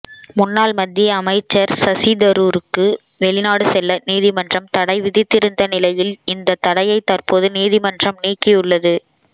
முன்னாள் மத்திய அமைச்சர் சசிதரூருக்கு வெளிநாடு செல்ல நீதிமன்றம் தடை விதித்திருந்த நிலையில் இந்த தடையை தற்போது நீதிமன்றம் நீக்கியுள்ளது